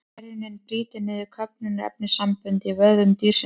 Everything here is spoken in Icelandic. Gerjunin brýtur niður köfnunarefnissambönd í vöðvum dýrsins.